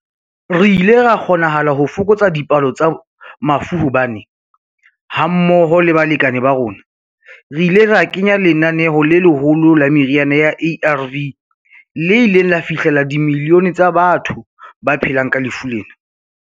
Re ile ra kgonahala ho fokotsa dipalo tsa mafu hobane, hammoho le balekane ba rona, re ile ra kenya lenaneo le leholo la meriana ya ARV le ileng la fihlella dimilione tsa batho ba phelang ka lefu lena.